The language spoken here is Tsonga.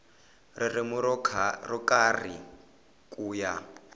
ririmi ro karhi ku ya